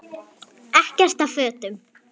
Ekkert af fötum